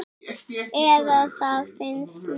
Eða það finnst mér.